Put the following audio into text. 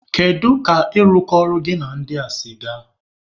Kedu ka ịrụkọ ọrụ gị na ndị a si gaa?